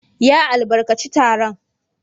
Ya albarkaci taron.